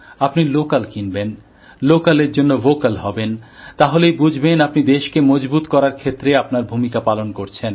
আপনি ল্যোকাল কিনবেন ল্যোকালএর জন্য ভোকাল হবেন তাহলেই বুঝবেন আপনি দেশকে মজবুত করার ক্ষেত্রে আপনার ভূমিকা পালন করছেন